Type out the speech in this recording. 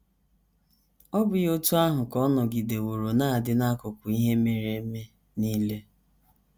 Ọ́ bụghị otú ahụ ka ọ nọgideworo na - adị n’akụkọ ihe mere eme nile?